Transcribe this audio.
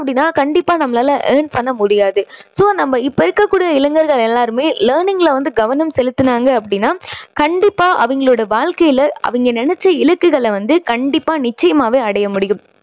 அப்படின்னா கண்டிப்பா நம்மளால earn பண்ண முடியாது. so நம்ப இப்போ இருக்கக் கூடிய இளைஞர்கள் எல்லாருமே learning ல வந்து கவனம் செலுத்துனாங்க அப்படின்னா கண்டிப்பா அவங்களோட வாழ்க்கையில அவங்க நினைச்ச இலக்குகளை வந்து கண்டிப்பா நிச்சயமாவே அடைய முடியும்.